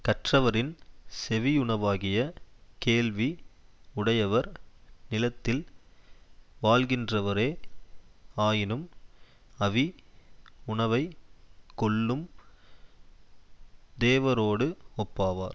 கற்றவரின் செவியுணவாகிய கேள்வி உடையவர் நிலத்தில் வாழ்கின்றவரே ஆயினும் அவி உணவைக் கொள்ளும் தேவரோடு ஒப்பாவார்